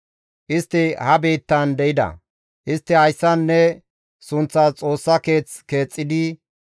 Istti ha biittan de7ida; istti hayssan ne sunththas Xoossa keeth keexxidi,